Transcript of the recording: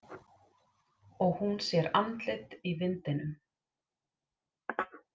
Og hún sér andlit í vindinum.